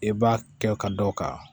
I b'a kɛ ka dɔ ka